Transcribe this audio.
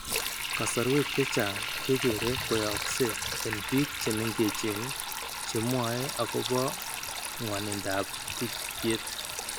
Kasarwek chechang' kekere koyaaykse eng' biik che meng'echen che mwae akopo ng'wanindoap tikikyet.